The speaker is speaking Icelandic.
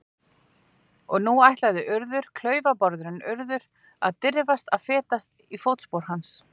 Og nú ætlaði Urður, klaufabárðurinn Urður, að dirfast að feta í fótspor hans.